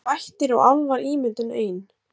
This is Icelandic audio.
Eru vættir og álfar ímyndun ein